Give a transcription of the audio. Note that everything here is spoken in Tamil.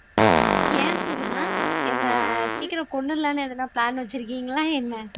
ஏன் சுகுணா என்னை சீக்கிரம் கொன்னுடலாம்னு எதுனா பிளான் வச்சிருக்கீங்களா என்ன